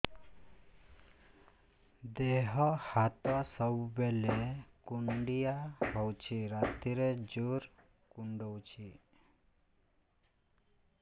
ଦେହ ହାତ ସବୁବେଳେ କୁଣ୍ଡିଆ ହଉଚି ରାତିରେ ଜୁର୍ କୁଣ୍ଡଉଚି